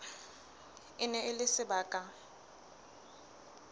e ne e le sebaka